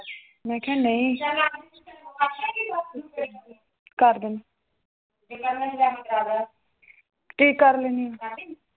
ਮੈਂ ਕਿਹਾ ਨਈਂ ਕਰਦੂl ਕਰ ਲੇਨੀ ਆ